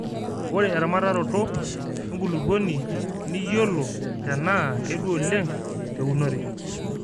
ore eramataroto enkulupuoni niyiolo tenaa kedua oleng te unore